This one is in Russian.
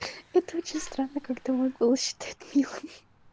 это очень странно когда мой голос считают милым